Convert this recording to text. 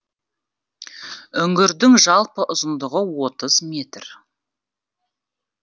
үңгірдің жалпы ұзындығы отыз метр